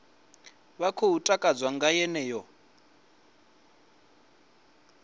vha khou takadzwa nga yeneyo